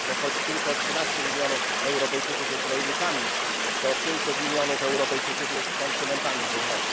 bo choć tylko 13 mln Europejczyków jest rolnikami, to 500 mln Europejczyków jest konsumentami żywności.